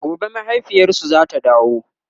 gobe mahaifiyarsu zata dawo